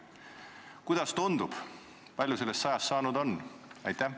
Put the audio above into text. Kuidas tundub, kui palju sellest 100-st saanud on?